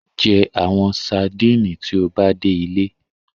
Jẹ awọn sadinit ti o ba de ile